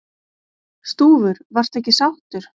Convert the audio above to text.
Stúfur: Varstu ekki sáttur?